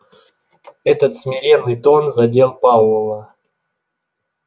этот смиренный тон задел пауэлла